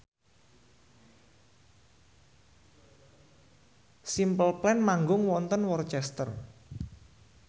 Simple Plan manggung wonten Worcester